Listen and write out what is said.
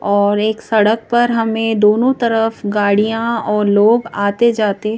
और एक सड़क पर हमें दोनों तरफ गाड़ियां और लोग आते- जाते--